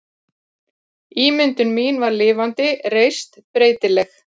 Ímyndun mín var lifandi, reist, breytileg.